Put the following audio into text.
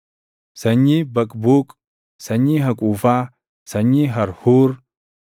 sanyii Baqbuuq, sanyii Haquufaa, sanyii Harhuur,